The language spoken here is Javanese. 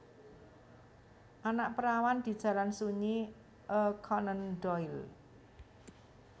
Anak Perawan di Jalan Sunyi A Conan Doyle